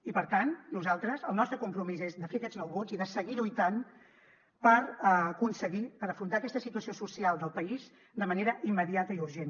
i per tant nosaltres el nostre compromís és de fer aquests nou vots i de seguir lluitant per aconseguir per afrontar aquesta situació social del país de manera immediata i urgent